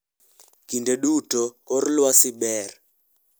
Kinde duto kor lwasi ber.